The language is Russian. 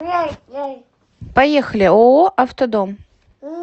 поехали ооо автодом